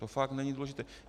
To fakt není důležité.